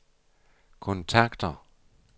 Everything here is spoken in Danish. kontakter